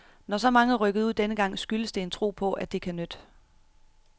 Når så mange er rykket ud denne gang, skyldes det en tro på, at det kan nytte.